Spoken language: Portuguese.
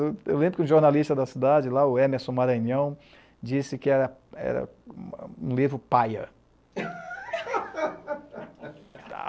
Eu eu lembro que um jornalista da cidade, lá, o Emerson Maranhão, disse que era era um livro paia.